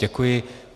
Děkuji.